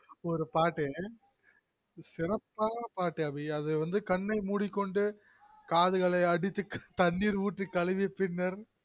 ஒரு பாட்டு சிரப்பான பாட்டு அபி அது கண்ணை மூடிகொண்டு காதுகளை அடித்து தண்ணீர் ஊத்தி கழுவி பின்னர்